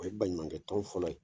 O ye baɲumankɛ tɔn fɔlɔ ye.